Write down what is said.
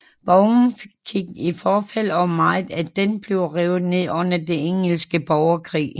Borgen gik i forfald og meget af den blev revet ned under den engelske borgerkrig